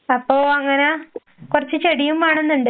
അപ്പൊ അങ്ങനെ കൊറച്ച് ചെടിയും വേണേന്നുണ്ട്.